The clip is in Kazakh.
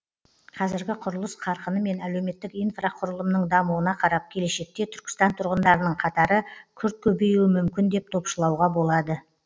қазіргі құрылыс қарқыны мен әлеуметтік инфрақұрылымның дамуына қарап келешекте түркістан тұрғындарының қатары күрт көбеюі мүмкін деп топшылауға болады